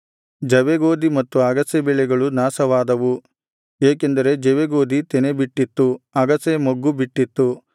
ಜವೆಗೋದಿ ಮತ್ತು ಅಗಸೆ ಬೆಳೆಗಳು ನಾಶವಾದವು ಏಕೆಂದರೆ ಜವೆಗೋದಿ ತೆನೆ ಬಿಟ್ಟಿತ್ತು ಅಗಸೆ ಮೊಗ್ಗು ಬಿಟ್ಟಿತ್ತು